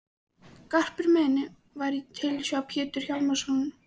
Garpur minn var í tilsjá Péturs Hjálmssonar í